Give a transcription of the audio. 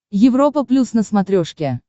европа плюс на смотрешке